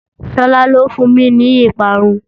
Shola ló fún mi ní ìparun